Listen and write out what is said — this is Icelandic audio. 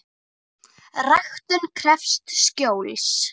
Ræktun krefst skjóls.